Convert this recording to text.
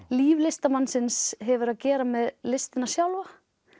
líf listamannsins hefur að gera með listina sjálfa